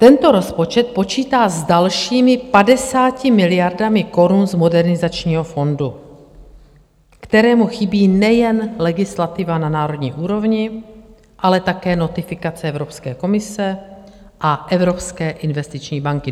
Tento rozpočet počítá s dalšími 50 miliardami korun z Modernizačního fondu, kterému chybí nejen legislativa na národní úrovni, ale také notifikace Evropské komise a Evropské investiční banky.